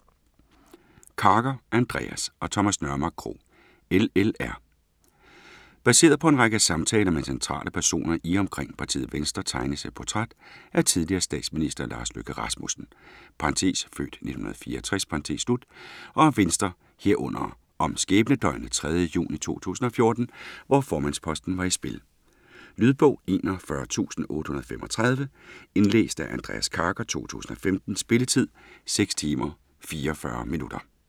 Karker, Andreas og Thomas Nørmark Krog: LLR Baseret på en række samtaler med centrale personer i og omkring partiet Venstre tegnes et portræt af tidligere statsminister Lars Løkke Rasmussen (f. 1964) og af Venstre, herunder om skæbnedøgnet 3. juni 2014, hvor formandsposten var i spil. Lydbog 41835 Indlæst af Andreas Karker, 2015. Spilletid: 6 timer, 44 minutter.